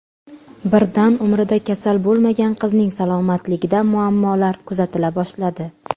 Birdan umrida kasal bo‘lmagan qizning salomatligida muammolar kuzatila boshladi.